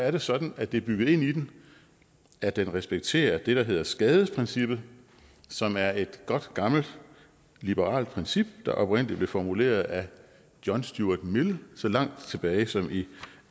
er sådan at det er bygget ind i den at den respekterer det der hedder skadesprincippet som er et godt gammelt liberalt princip der oprindelig blev formuleret af john stuart mill så langt tilbage som i